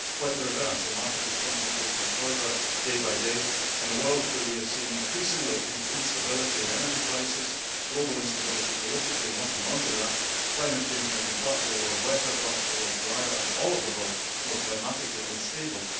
Quite the reverse the market is concentrating further day by day in a world where we are increasingly seeing instability in energy prices, global instability and its political knock on effects, and climate change making parts of the world wetter, parts of the world drier, and all of the world more climatically unstable.